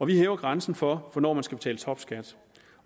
vi hæver grænsen for hvornår man skal betale topskat